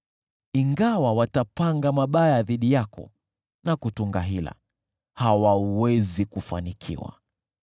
Ingawa watapanga mabaya dhidi yako na kutunga hila, hawawezi kufanikiwa,